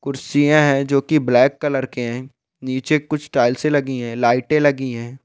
कुर्सियां है जो की ब्लैक कलर के है| नीचे कुछ टाइल्स लगी हैं लाइटें लगी है।